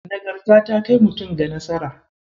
Nagarta ta kai mutum ga nasara.